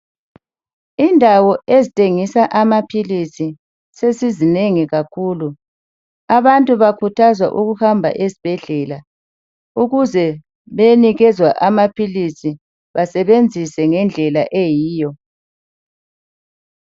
Indawo ezithengisa amaphilisi sezizinengi kakhulu. Abantu bakhuthazwa ukuhamba ezibhedlela ukuze beyenikezwa amaphilisi, basebenzise ngendlela eyiyo.